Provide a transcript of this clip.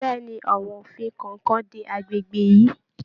Bẹ̀ẹ́ni, àwọn òfin kọọkan dé agbègbè yìí.